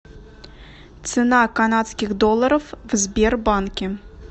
цена канадских долларов в сбербанке